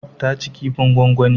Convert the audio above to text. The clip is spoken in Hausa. Ta ci kifin gwangwani.